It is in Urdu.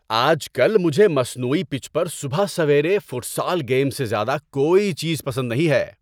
آج کل مجھے مصنوعی پچ پر صبح سویرے فوٹسال گیم سے زیادہ کوئی چیز پسند نہیں ہے۔